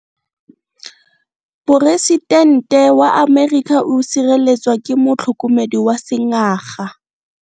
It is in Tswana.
Poresitente wa Amerika o sireletswa ke motlhokomedi wa sengaga.